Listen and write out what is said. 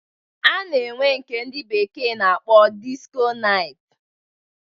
A na-enwe nke ndị bekee na-akpọ disko nait.